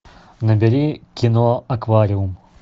набери кино аквариум